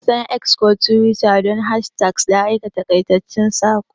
An san X ko Twitter don hashtags da aika taƙaitaccen saƙo.